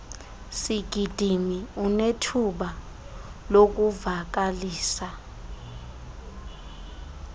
sigidimi unethuba lokuvakalisa